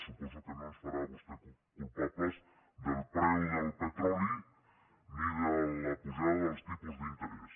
suposo que no ens farà vostè culpables del preu del petroli ni de l’apujada dels tipus d’interès